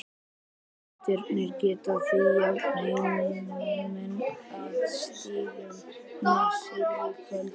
Gestirnir geta því jafnað heimamenn að stigum með sigri í kvöld.